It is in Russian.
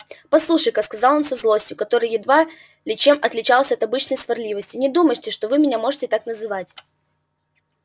послушайте-ка сказал он со злостью которая едва ли чем отличалась от обычной сварливости не думайте что вы меня можете так называть